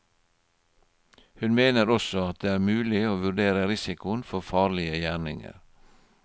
Hun mener også det er mulig å vurdere risikoen for farlige gjerninger.